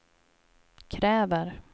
kräver